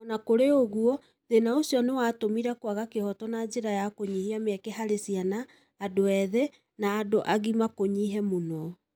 O na kũrĩ ũguo, thĩna ũcio nĩ watũmire kwaga kĩhoto na njĩra ya kũnyihia mĩeke harĩ ciana, andũ ethĩ, na andũ agima kũnyihe mũno.